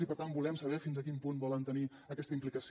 i per tant volem saber fins a quin punt hi volen tenir aquesta implicació